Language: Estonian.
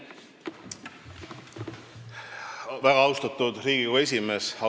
Väga austatud Riigikogu esimees!